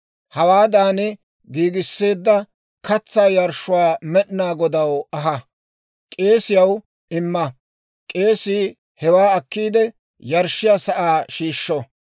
Hawaadan giigisseedda katsaa yarshshuwaa Med'inaa Godaw aha; k'eesiyaw imma. K'eesii hewaa akkiide yarshshiyaa sa'aa shiishsho.